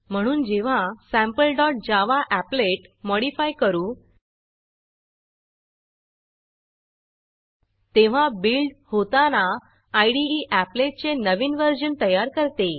म्हणून जेव्हा sample dot Java applet modify करू तेव्हा बिल्ड होताना इदे एपलेट चे नवीन व्हर्जन तयार करते